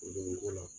O don ko la